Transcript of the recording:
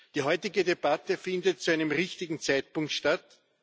Die heutige Debatte findet zu einem richtigen Zeitpunkt statt.